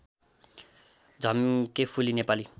Jhamkephuli Nepali